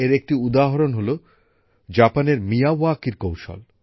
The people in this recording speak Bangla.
এর একটি উদাহরণ হল জাপানের মিয়াওয়াকির কৌশল